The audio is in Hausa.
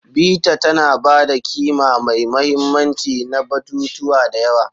Bita tana ba da ƙima mai mahimmanci na batutuwa da yawa.